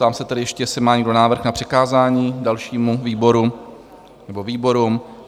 Ptám se tedy ještě, jestli má někdo návrh na přikázání dalšímu výboru nebo výborům?